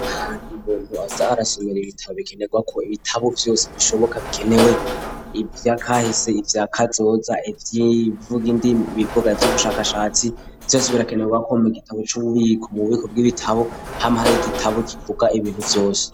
Ahantu umuntu aza arasubira ibitabo bikenerwa ko ibitabo vyose bishoboka bikenewe ibyakahese ivyakazoza ib'ivuga indimi ibivuga ivy'ubushakashatsi vyose birakenewe akomega igitabo c'ububiko mu bubiko bw'ibitabo p'amahari gitabo kivuga ibintu vyose.